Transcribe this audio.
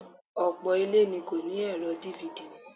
Ọ̀pọ̀ ilé ni kò ní ẹ̀rọ DVD mọ́